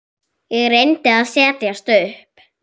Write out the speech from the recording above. Ég reyndi að setjast upp.